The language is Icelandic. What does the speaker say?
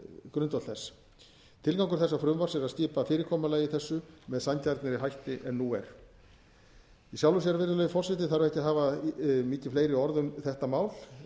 grundvöll þess tilgangur þessa frumvarps er að skipa fyrirkomulagi þessu með sanngjarnari hætti en nú er í sjálfu sér virðulegi forseti þarf ekki að hafa mikið fleiri orð um þetta mál